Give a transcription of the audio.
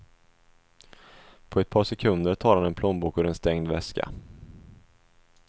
På ett par sekunder tar han en plånbok ur en stängd väska.